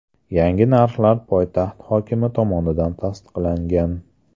Yangi narxlar poytaxt hokimi tomonidan tasdiqlangan.